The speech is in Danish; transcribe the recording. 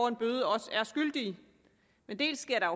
en bøde også er skyldige men dels sker der